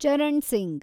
Charan Singh